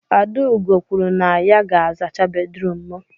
Adaugo kwuru na ya ga-azacha bedrum m